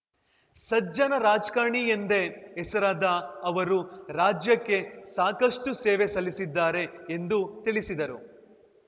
ಸಜ್ಜನ ರಾಜ್ಕಾರಣಿ ಎಂದೇ ಹೆಸರಾದ ಅವರು ರಾಜ್ಯಕ್ಕೆ ಸಾಕಷ್ಟುಸೇವೆ ಸಲ್ಲಿಸಿದ್ದಾರೆ ಎಂದು ತಿಳಿಸಿದರು